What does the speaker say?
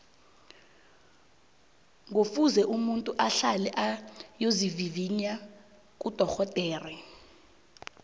ngufuze umuntu ahlale ayokuvivinya kudorhodere